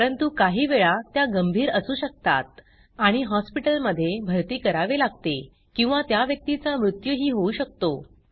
परंतु काही वेळा त्या गंभीर असू शकतात आणि हॉस्पिटलमधे भरती करावे लागते किंवा त्या व्यक्तीचा मृत्यूही होऊ शकतो